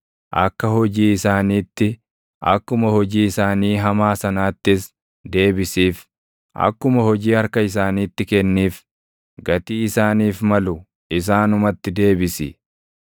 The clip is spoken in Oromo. Akka hojii isaaniitti, akkuma hojii isaanii hamaa sanaattis deebisiif; akkuma hojii harka isaaniitti kenniif; gatii isaaniif malu isaanumatti deebisi.